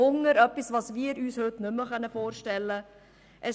Hunger – etwas, das wir uns heute nicht mehr vorstellen können.